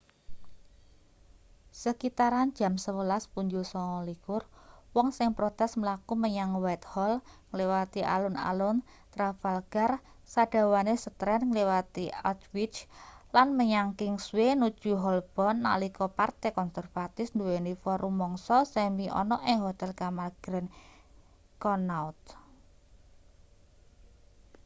sekitaran jam 11.29 wong sing protes mlaku menyang whitehall ngliwati alun-alun trafalgar sadawane strand ngliwati aldwych lan menyang kingsway nuju holborn nalika partai konservatif nduweni forum mangsa semi ana ing hotel kamar grand connaught